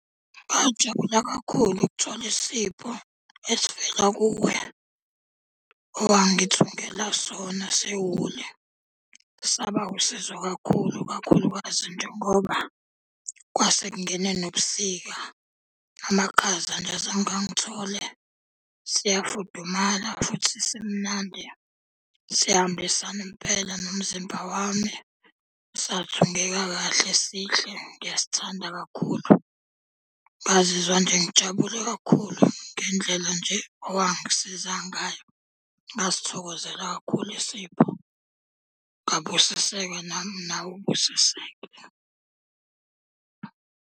Ngajabula kakhulu ukuthola isipho esivela kuwe, owangithungela sona sewuli. Saba wusizo kakhulu kakhulukazi njengoba kwase kungene nobusika. Amakhaza nje azange angithole. Siyafudumala, futhi simnandi, sihambisana impela nomzimba wami, sathungeka kahle, sihle ngiyasithanda kakhulu. Ngazizwa nje ngijabule kakhulu ngendlela nje owangisiza ngayo. Ngasithokozela kakhulu isipho ngabusiseka nawe ubusiseke.